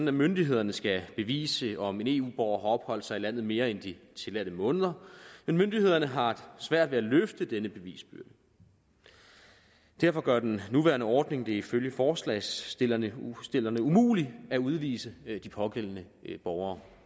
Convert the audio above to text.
at myndighederne skal bevise om en eu borger har opholdt sig i landet mere end de tilladte måneder men myndighederne har svært ved at løfte denne bevisbyrde derfor gør den nuværende ordning det ifølge forslagsstillerne umuligt at udvise de pågældende borgere